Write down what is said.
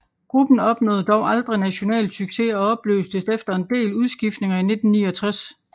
Gruppen opnåede dog aldrig national succes og opløstes efter en del udskiftninger i 1969